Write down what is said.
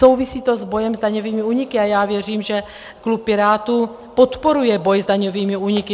Souvisí to s bojem s daňovými úniky a já věřím, že klub Pirátů podporuje boj s daňovými úniky.